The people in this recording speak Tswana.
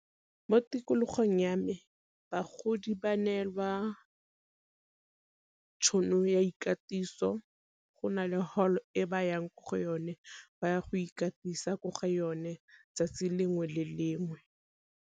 Mo tikologong ya me bagodi ba nelwa tšhono ya ikatiso go na le hall e ba yang ko go yone ba ya go ikatisa ko ga yone 'tsatsi lengwe le lengwe.